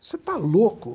Você está louco?